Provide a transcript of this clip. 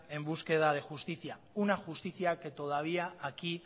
en búsqueda de justicia una justicia que todavía aquí